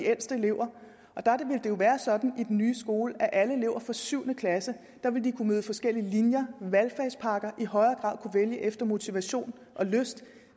jo være sådan i den nye skole at alle elever fra syvende klasse vil kunne møde forskellige linjer og valgfagspakker og i højere grad kunne vælge efter motivation og lyst